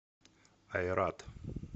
айрат